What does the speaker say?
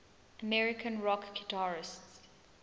american rock guitarists